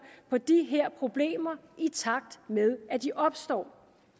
på de her problemer i takt med at de opstår